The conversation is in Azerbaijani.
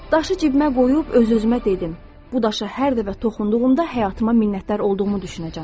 Daşı cibimə qoyub öz-özümə dedim: bu daşa hər dəfə toxunduğumda həyatıma minnətdar olduğumu düşünəcəm.